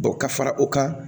ka fara o kan